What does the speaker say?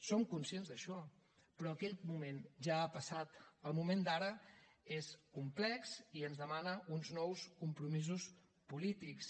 som conscients d’això però aquell moment ja ha passat el moment d’ara és complex i ens demana uns nous compromisos polítics